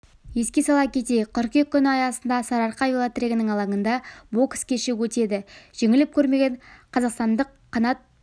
еске сала кетейік қыркүйек күні аясында сарыарқа велотрегінің алаңында бокс кеші өтеді жеңіліп көрмеген қазақстандық қанат